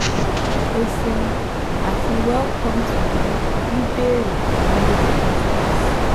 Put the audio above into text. O ṣeun ati Welcome to the "Bíbéèrè fún Dokita" service